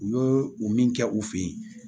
U y'o o min kɛ u fɛ yen